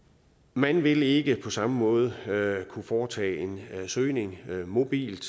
man vil ikke på samme måde kunne foretage en søgning mobilt